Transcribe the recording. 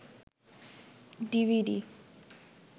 DVD